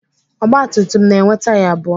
Ọgba tum tum na-enwe taya abụọ.